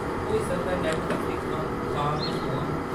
होई सकदा ऐ, नैट्टफ्लिक्स दिक्खां, खां ते सोआं ।